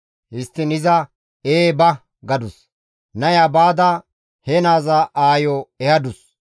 Histtiin iza, «Ee, ba» gadus. Naya baada he naaza aayo ehadus.